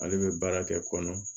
Ale bɛ baara kɛ kɔnɔ